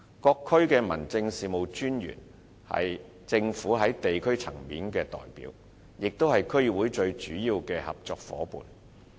各區的民政事務專員是政府在地區層面的代表，也是區議會最主要的合作夥伴。